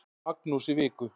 Magnús í viku.